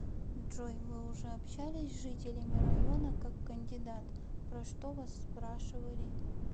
джой вы уже общались с жителями района как кандидат про что вас спрашивали